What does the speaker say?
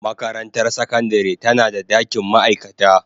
Makarantar sakandare tana da dakin ma'aikata.